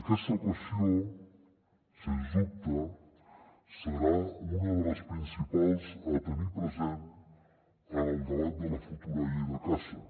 aquesta qüestió sens dubte serà una de les principals a tenir present en el debat de la futura llei de caça